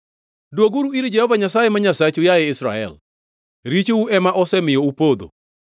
Dwoguru ir Jehova Nyasaye ma Nyasachu, yaye Israel. Richou ema osemiyo upodho.